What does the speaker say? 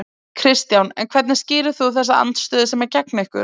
Kristján: En hvernig skýrir þú þessa andstöðu sem er gegn ykkur?